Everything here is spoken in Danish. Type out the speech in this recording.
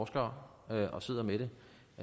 spørge